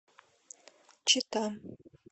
чита